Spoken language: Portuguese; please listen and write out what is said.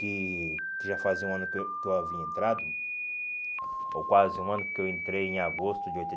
Que que já fazia um ano que eu que eu havia entrado, ou quase um ano que eu entrei em agosto de